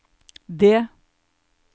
det